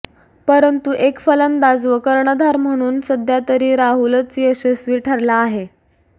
परंतु एक फलंदाज व कर्णधार म्हणून सध्यातरी राहुलच यशस्वी ठरला आहे